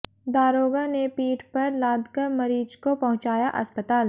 दारोगा ने पीठ पर लादकर मरीज को पहुंचाया अस्पताल